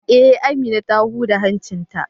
Eh, Amina ta huda hancin ta.